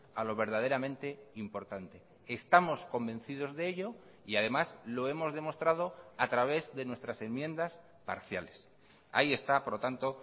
a lo verdaderamente importante estamos convencidos de ello y además lo hemos demostrado a través de nuestras enmiendas parciales ahí está por lo tanto